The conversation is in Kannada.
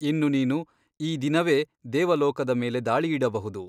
ಇನ್ನು ನೀನು ಈ ದಿನವೇ ದೇವಲೋಕದ ಮೇಲೆ ದಾಳಿಯಿಡಬಹುದು.